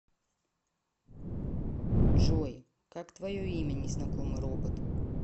джой как твое имя незнакомый робот